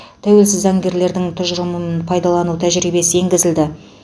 тәуелсіз заңгерлердің тұжырымын пайдалану тәжірибесі енгізілді